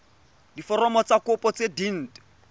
diforomo tsa kopo tse dint